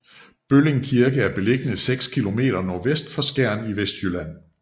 Bølling Kirke er beliggende 6 km nordvest for Skjern i Vestjylland